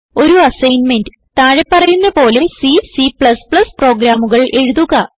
ഒരു അസ്സൈൻമെന്റ് താഴെ പറയുന്ന പോലെ സി C പ്രോഗ്രാമുകൾ എഴുതുക